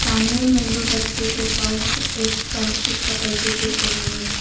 सामने में दो बच्चे के पास एक प्लास्टिक पकड़ कर देख रहे हैं।